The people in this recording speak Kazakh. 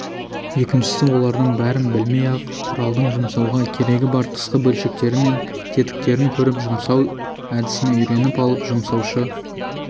екіншісі олардың бәрін білмей-ақ құралдың жұмсауға керегі бар тысқы бөлшектері мен тетіктерін көріп жұмсау әдісін үйреніп алып жұмсаушы